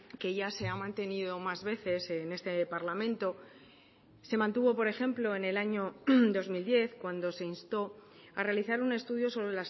que ya se ha mantenido más veces en este parlamento se mantuvo por ejemplo en el año dos mil diez cuando se instó a realizar un estudio sobre